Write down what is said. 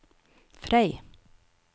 Frei